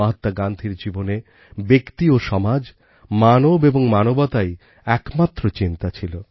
মহাত্মা গান্ধীর জীবনে ব্যক্তি ও সমাজ মানব এবং মানবতাই একমাত্র চিন্তা ছিল